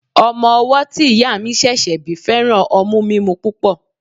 Ọmọ owọ́ tí ìyá mi ṣẹ̀ṣẹ̀ bí fẹ́ràn ọmú mímú púpọ̀.